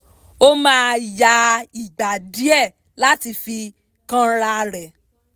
ó máa ń ya ìgbà díẹ̀ láti fi kánra rẹ̀